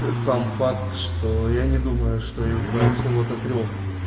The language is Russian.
сам факт что я не думаю что из-за всего до трёх